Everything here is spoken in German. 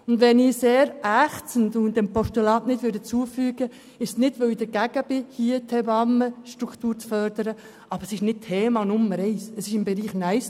Wenn ich diesem Postulat nicht zustimmen kann, ist es nicht, weil ich dagegen bin, die Hebammenstruktur zu fördern, aber es ist nicht Thema Nummer eins, es liegt im Nice-to-have-Bereich.